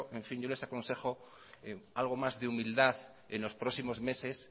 en fin yo les aconsejo algo más de humildad en los próximos meses